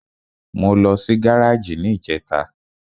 Mo lọ sí gáràjì ní ìjẹta.